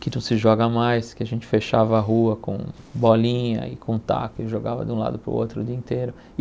que não se joga mais, que a gente fechava a rua com bolinha e com taco e jogava de um lado para o outro o dia inteiro.